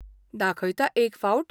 दाखयता एक फावट?